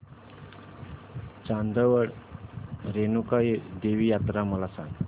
चांदवड रेणुका देवी यात्रा मला सांग